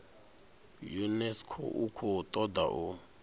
unesco i khou toda u